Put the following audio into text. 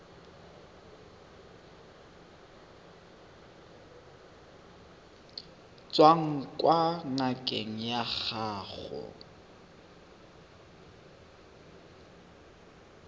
tswang kwa ngakeng ya gago